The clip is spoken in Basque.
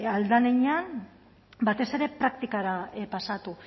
ahal den heinean batez ere praktikara pasatu